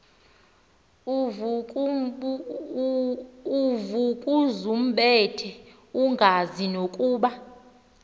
uvukuzumbethe engazi nokuba